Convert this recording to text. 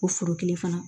O foro kelen fana